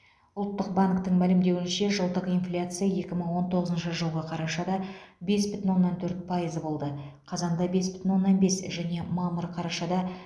ұлттық банктің мәлімдеуінше жылдық инфляция екі мың он тоғызыншы жылғы қарашада бес бүтін оннан төрт пайыз болды қазанда бес бүтін оннан бес және мамыр қарашада